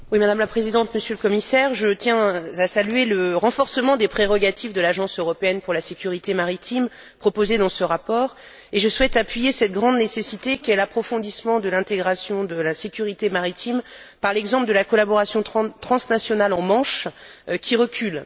Madame la Présidente, Monsieur le Commissaire, je tiens à saluer le renforcement des prérogatives de l'Agence européenne pour la sécurité maritime proposé dans ce rapport, et je souhaite appuyer cette grande nécessité qu'est l'approfondissement de l'intégration de la sécurité maritime par l'exemple de la collaboration transnationale en Manche, qui est en recul.